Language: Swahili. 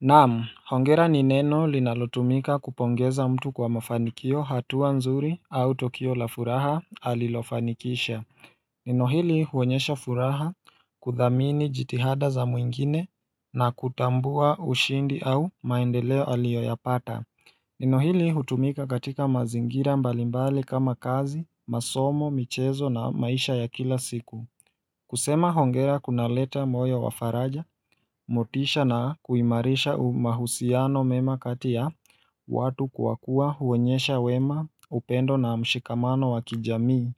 Nam hongera nineno linalotumika kupongeza mtu kwa mafanikio hatua nzuri au tukio la furaha alilofanikisha Nenohili huonyesha furaha kuthamini jitihada za mwingine na kutambua ushindi au maendeleo aliyoyapata Ninohili hutumika katika mazingira mbalimbali kama kazi masomo michezo na maisha ya kila siku kusema hongera kuna leta moyo wafaraja, motisha na kuimarisha umahusiano mema kati ya watu kwa kuwa huonyesha wema upendo na mshikamano wakijamii.